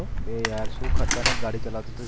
એ યાર શુ ખતરનાક ગાડી ચલાવતો હતો